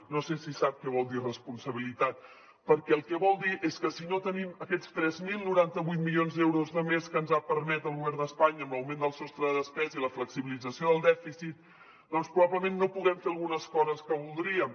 no sé si sap què vol dir responsabilitat perquè el que vol dir és que si no tenim aquests tres mil noranta vuit milions d’euros de més que ens ha permès el govern d’espanya amb l’augment del sostre de despesa i la flexibilització del dèficit doncs probablement no puguem fer algunes coses que voldríem